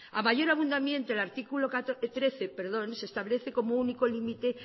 a mayor abundamiento en el artículo trece se establece como único limite